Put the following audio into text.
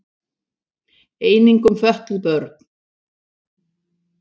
Einnig um fötluð börn.